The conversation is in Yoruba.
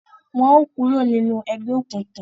Wọn o kuro ninu egbeokunkun!